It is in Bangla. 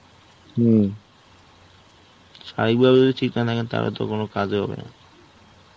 স্বাভাবিকভাবে ঠিক না থাকলে ঠিকানাকে তাহলে তো কোনো কাজ হবে না.